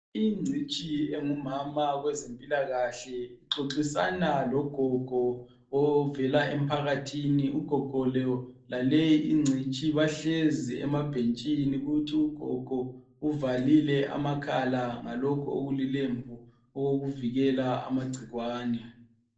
Igcitshi engumama kwezempilakahle uxoxisana logogo ovela emphakathini ugogo lo laleyi igcitshi bahlezi emabhentshini kuthi ugogo uvalile amakhala ngalokhu okulilembu okokuvikela amagcikwane.